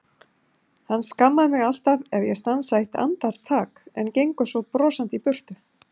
Hann skammar mig alltaf ef ég stansa eitt andartak, en gengur svo brosandi í burtu.